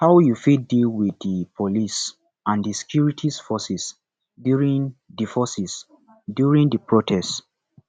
how you fit deal with di police and di security forces during di forces during di protest